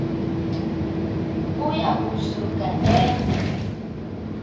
uya kusuka eme